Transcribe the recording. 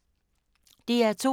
DR2